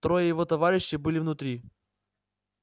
трое его товарищей были внутри